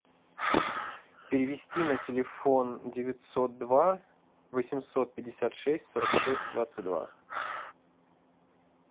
перевести на телефон девятьсот два восемьсот пятьдесят шесть сорок шесть двадцать два